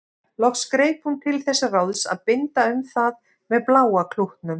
Loks greip hún til þess ráðs að binda um það með bláa klútnum.